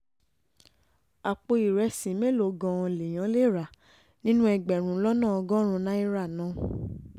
àpò ìrẹsì mélòó gan-an lèèyàn lè rà nínú ẹgbẹ̀rún lọ́nà ọgọ́rùn-ún náírà náà